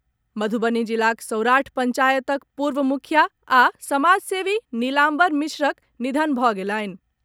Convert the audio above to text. मधुबनी जिलाक सौराठ पंचायतक पूर्व मुखिया आ समाजसेवी निलाम्बर मिश्रक निधन भऽ गेलनि।